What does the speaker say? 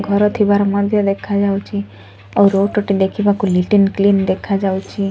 ଘରଥିବାର ମଧ୍ୟ ଦେଖାଯାଉଚି ଆଉ ରୁଟଟି ଦେଖିବାକୁ ନିଟ ଆଣ୍ଡ କ୍ଲିନ ଦେଖାଯାଉଚି।